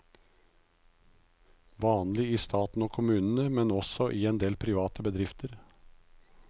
Vanlig i staten og kommunene, men også i en del private bedrifter.